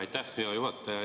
Aitäh, hea juhataja!